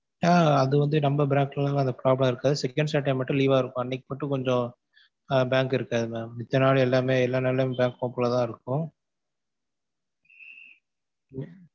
ஆஹ் அது வந்து நம்ம branch ல அந்த மாதிரி problem இருக்காது second saturday மட்டும் leave வா இருக்கும் அன்னைக்கு மட்டும் கொஞ்சம் ஆஹ் பேங்க் இருக்காது mam மித்த நாள் எல்லாமே, எல்லா நாளுளையுமே பேங்க் open ல தான் இருக்கும்.